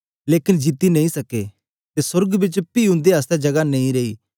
लेकन जीती नेई सक्के ते सोर्ग बिच पी उंदे आसतै जगह नेई रेई